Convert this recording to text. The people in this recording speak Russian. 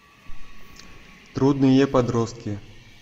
трудные подростки